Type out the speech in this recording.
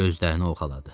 Gözlərini oxşaladı.